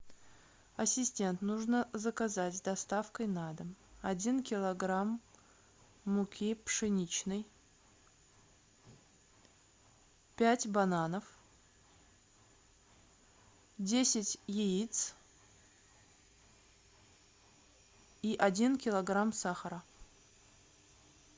ассистент нужно заказать с доставкой на дом один килограмм муки пшеничной пять бананов десять яиц и один килограмм сахара